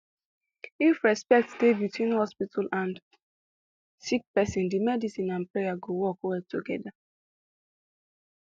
if respect dey between hospital and sick pesin de medicine and prayer go work well togeda